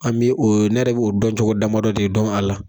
An bɛ o ne yɛrɛ dɔn cogo damadɔ de dɔn a la.